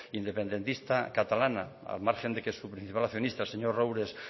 independentista catalana al margen de que su principal accionista señor roures